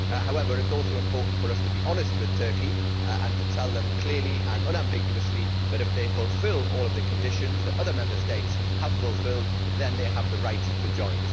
However, it is also important for us to be honest with Turkey, and to say clearly and unambiguously that, if it fulfils all the conditions that other Member States have fulfilled, then it has the right to join.